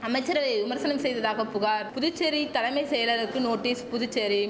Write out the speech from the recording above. அமைச்சரவையை விமர்சனம் செய்ததாக புகார் புதுச்சேரி தலமை செயலருக்கு நோட்டீஸ் புதுச்சேரி